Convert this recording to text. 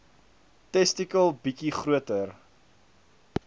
testikel bietjie groter